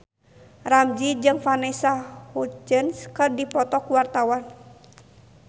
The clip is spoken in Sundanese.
Ramzy jeung Vanessa Hudgens keur dipoto ku wartawan